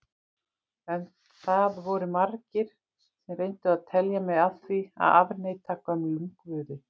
En það voru margir sem reyndu að telja mig af því að afneita gömlum guði.